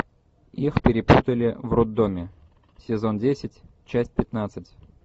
их перепутали в роддоме сезон десять часть пятнадцать